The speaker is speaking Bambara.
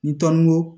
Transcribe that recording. Ni tɔn ko